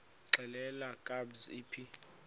xelel kabs iphi